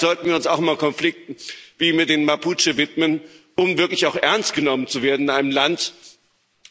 Vielleicht sollten wir uns auch mal Konflikten wie mit den Mapuche widmen, um wirklich auch ernst genommen zu werden in einem Land,